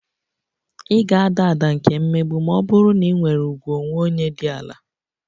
Ị ga-ada ada nke mmegbu ma ọ bụrụ na ị nwere ùgwù onwe onye dị ala